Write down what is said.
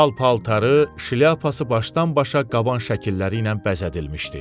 Pal-paltarı, şlyapası başdan-başa qaban şəkilləri ilə bəzədilmişdi.